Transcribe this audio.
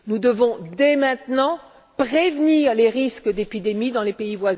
Nous devons, dès maintenant, prévenir les risques d'épidémie dans ces pays.